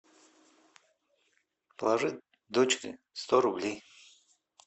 положи дочери сто рублей